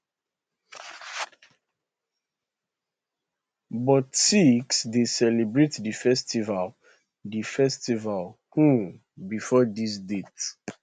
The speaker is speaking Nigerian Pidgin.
but sikhs dey celebrate di festival di festival um bifor dis date